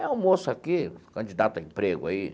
É um moço aqui, candidato a emprego aí.